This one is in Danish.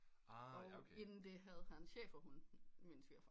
Og inden det havde han schæferhunde min svigerfar